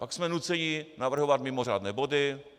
Pak jsme nuceni navrhovat mimořádné body.